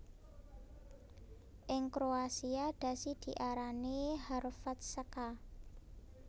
Ing kroasia dhasi diarani Hrvatska